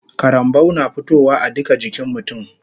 Karambau na fitowa a duka jikin mutun